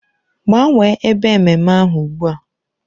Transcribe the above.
Gbanwee ebe ememme ahụ ugbu a!